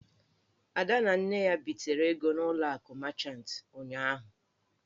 Ada na Nne ya bitere ego n'ụlọ akụ machant ụnyụahụ.